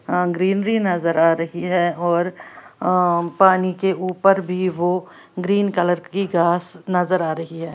अं greenery नज़र आ रही है और अम् पानी के ऊपर भी वो ग्रीन कलर की घास नज़र आ रही है।